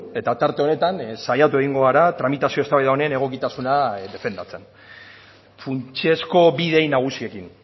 eta tarte honetan saiatu egingo gara tramitazio eztabaida honen egokitasuna defendatzen funtsezko bi idei nagusiekin